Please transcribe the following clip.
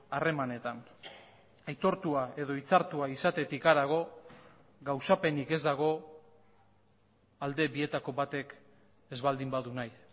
harremanetan aitortua edo hitzartua izatetik harago gauzapenik ez dago alde bietako batek ez baldin badu nahi